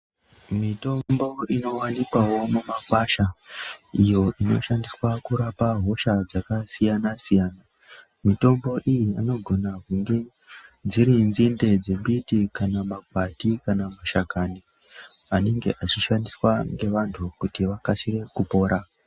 Mitombo inowanikwawo mumakwasha iyo inoshandiswa kurapa hosha dzakasiyana siyana mitombo iyi inogona kunge dziri nzinde dzembiti kana makwati kana mashakan i anenge echishandiswa ngevantu kuti vakasire kupora.